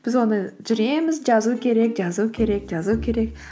біз оны жүреміз жазу керек жазу керек жазу керек